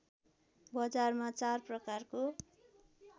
बजारमा चार प्रकारको